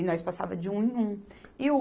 E nós passávamos de um em um. E o